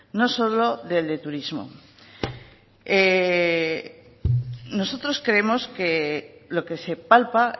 no solo del de turismo nosotros creemos que lo que se palpa